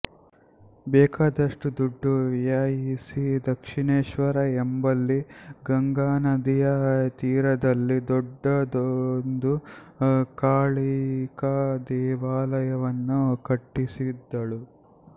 ಬೇಕಾದಷ್ಟು ದುಡ್ಡು ವ್ಯಯಿಸಿ ದಕ್ಷಿಣೇಶ್ವರ ಎಂಬಲ್ಲಿ ಗಂಗಾನದಿಯ ತೀರದಲ್ಲಿ ದೊಡ್ಡದೊಂದು ಕಾಳಿಕಾ ದೇವಾಲಯವನ್ನು ಕಟ್ಟಿಸಿದಳು